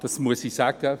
Dazu muss ich sagen: